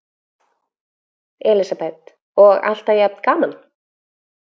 Elísabet: Og alltaf jafn gaman?